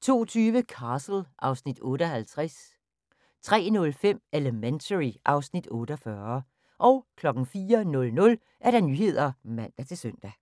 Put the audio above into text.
02:20: Castle (Afs. 58) 03:05: Elementary (Afs. 48) 04:00: Nyhederne (man-søn)